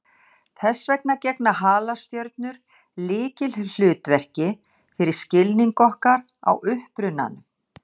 Þess vegna gegna halastjörnur lykilhlutverki fyrir skilning okkar á upprunanum.